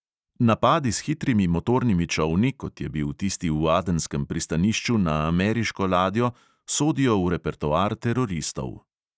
Napadi s hitrimi motornimi čolni, kot je bil tisti v adenskem pristanišču na ameriško ladjo, sodijo v repertoar teroristov.